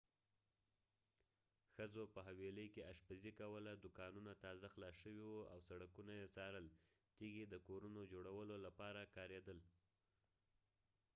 ښځو په حویلۍ کې اشپزي کوله دوکانونه تازه خلاص شوي وو او سړکونه یې څارل تیږې د کورونو جوړولو لپاره کاریدل